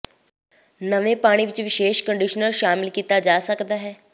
ਨਵੇਂ ਪਾਣੀ ਵਿਚ ਵਿਸ਼ੇਸ਼ ਕੰਡੀਸ਼ਨਰ ਸ਼ਾਮਲ ਕੀਤਾ ਜਾ ਸਕਦਾ ਹੈ